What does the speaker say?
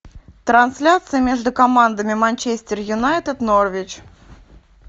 трансляция между командами манчестер юнайтед норвич